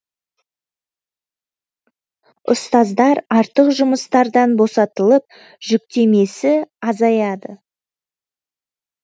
ұстаздар артық жұмыстардан босатылып жүктемесі азаяды